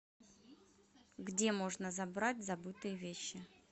где можно забрать забытые вещи